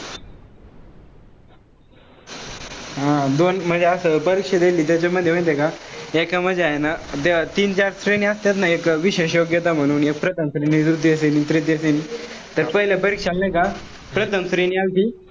हा दोन म्हणजे असं परीक्षा देलती. त्याच्यामध्ये माहितीये का हाये ना ते तीन-चार असतात ना एक विशेष योग्यता म्हणून. तर पहिल्या परीक्षा नाही का